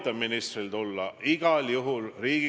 Samas peaminister ütleb, et ta usaldab prokuratuuri sada protsenti.